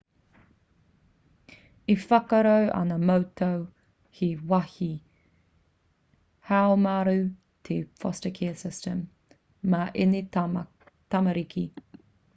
e whakaaro ana mātou he wāhi haumaru te foster care system mā ēnei tamariki